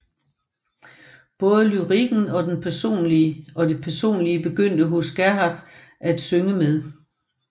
Både lyrikken og det personlige begyndte hos Gerhardt at synge med